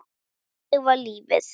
Og þvílíkt samsafn af hávaða.